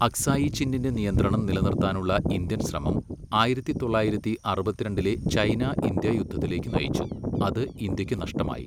അക്സായി ചിന്നിന്റെ നിയന്ത്രണം നിലനിർത്താനുള്ള ഇന്ത്യൻ ശ്രമം ആയിരത്തി തൊള്ളായിരത്തി അറുപത്തിരണ്ടിലെ ചൈന, ഇന്ത്യ യുദ്ധത്തിലേക്ക് നയിച്ചു, അത് ഇന്ത്യയ്ക്ക് നഷ്ടമായി.